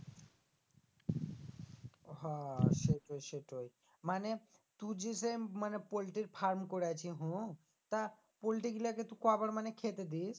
হো সেইটোই সেইটোই মানে তু যেখান মানে পোল্টির farm করেছি হুঁ তা পোল্ট্রি গুলাকে তু কবার মানে খেতে দিস?